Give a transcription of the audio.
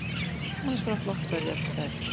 Annars bara flott ferð í alla staði.